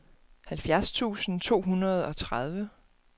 halvfjerds tusind to hundrede og tredive